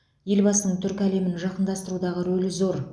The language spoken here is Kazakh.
елбасының түркі әлемін жақындастырудағы рөлі зор